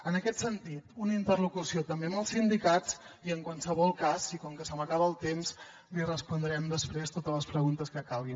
en aquest sentit una interlocució també amb els sindicats i en qualsevol cas i com que se m’acaba el temps li respondrem després totes les preguntes que calgui